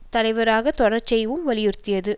சம்பிரதாய தலைவராக தொடரச் செய்யவும் வலியுறுத்தியது